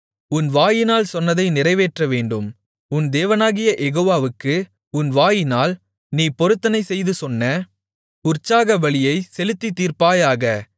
உன் வாயினால் சொன்னதை நிறைவேற்றவேண்டும் உன் தேவனாகிய யெகோவாவுக்கு உன் வாயினால் நீ பொருத்தனைசெய்து சொன்ன உற்சாகபலியைச் செலுத்தித் தீர்ப்பாயாக